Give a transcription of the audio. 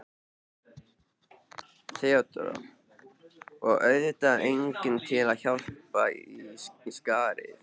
THEODÓRA: Og auðvitað enginn til að hlaupa í skarðið.